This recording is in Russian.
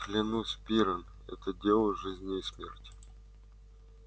клянусь пиренн это дело жизни и смерти